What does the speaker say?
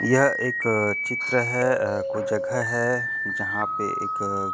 यह एक चित्र है कुछ जगह है जहाँ पे एक--